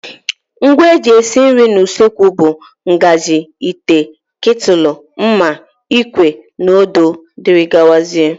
Ngwa eji esi nri n' usekwu bụ ngazi, ite, ketúlú, mma, ikwe na odo wdg.